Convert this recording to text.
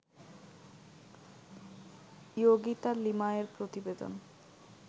ইয়োগিতা লিমায়ের প্রতিবেদন